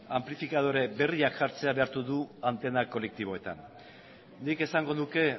anplifikadore berriak jartzea behartu du antena kolektiboetan nik esango nuke